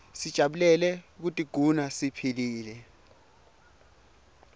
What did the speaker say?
sijabulele kutiguna siphilile